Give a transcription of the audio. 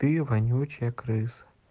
ты вонючая крыса